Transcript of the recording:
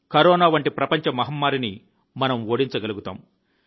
corona వంటి ప్రపంచ మహమ్మారిని మనం ఓడించగలుగుతాము